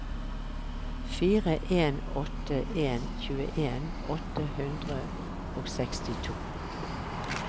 fire en åtte en tjueen åtte hundre og sekstito